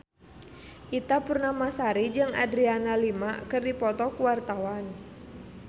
Ita Purnamasari jeung Adriana Lima keur dipoto ku wartawan